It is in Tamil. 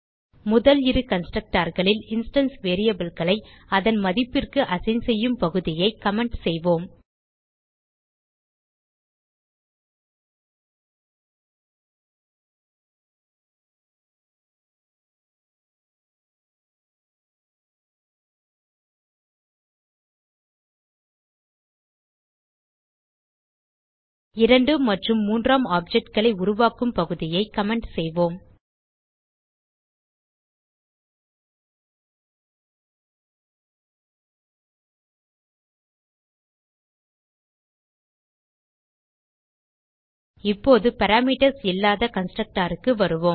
முதல் இரு constructorகளில் இன்ஸ்டான்ஸ் variableகளை அதன் மதிப்பிற்கு அசைன் செய்யும் பகுதியை கமெண்ட் செய்வோம் இரண்டு மற்றும் மூன்றாம் objectகளை உருவாக்கும் பகுதியை கமெண்ட் செய்வோம் இப்போது பாராமீட்டர்ஸ் இல்லாத constructorக்கு வருவோம்